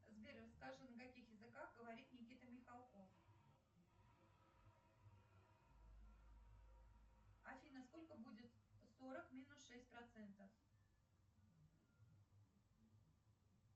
сбер расскажи на каких языках говорит никита михалков афина сколько будет сорок минус шесть процентов